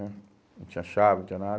Né não tinha chave, não tinha nada.